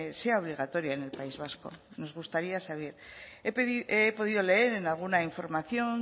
sea obligatoria en el país vasco nos gustaría saber he podido leer en alguna información